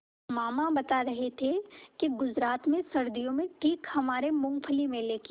मामा बता रहे थे कि गुजरात में सर्दियों में ठीक हमारे मूँगफली मेले की